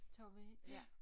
Tog vi ja